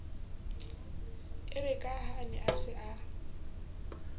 erekaha a ne a sa